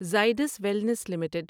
Zydus Wellness limited